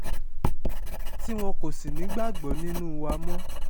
tí wọn kò sì ní ìgbàgbọ́ nínú wa mọ́